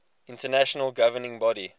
international governing body